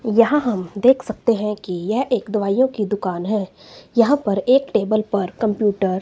यहां हम देख सकते हैं कि यह एक दवाइयो की दुकान है यहां पर एक टेबल पर कंप्यूटर --